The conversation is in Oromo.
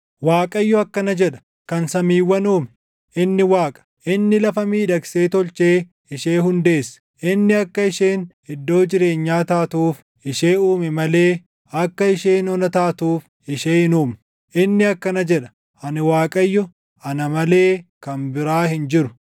Waaqayyo akkana jedha; kan samiiwwan uume, inni Waaqa; inni lafa miidhagsee tolchee ishee hundeesse; inni akka isheen iddoo jireenyaa taatuuf ishee uume malee akka isheen ona taatuuf ishee hin uumne; inni akkana jedha; “Ani Waaqayyo; ana malee kan biraa hin jiru.